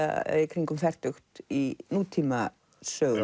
kringum fertugt í nútíma sögunni